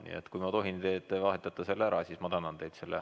Nii et kui ma tohin teid paluda, et te vahetate selle ära, siis ma tänan teid.